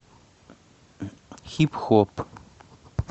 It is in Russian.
хип хоп